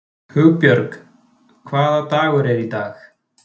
Hugbjörg, hvaða dagur er í dag?